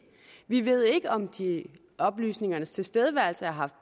vi ved ikke om oplysningernes tilstedeværelse har haft